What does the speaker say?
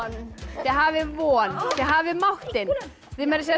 þið hafið von þið hafið máttinn þið meira að segja